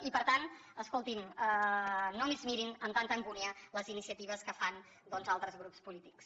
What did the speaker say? i per tant escolti’m no es mirin amb tanta angúnia les iniciatives que fan doncs altres grups polítics